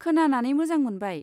खोनानानै मोजां मोनबाय।